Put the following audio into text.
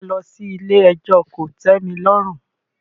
Ṣé wà á lọ sí ilé ẹjọ́ kò tẹ́mi lọ́rùn?